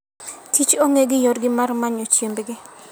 Kich ong'e gi yorgi mar manyo chiembgi